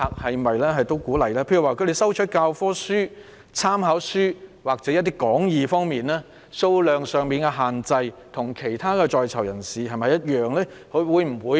舉例來說，正在進修的在囚人士需要教科書、參考書或講義，他們收取書刊的數量限制是否與其他在囚人士一樣？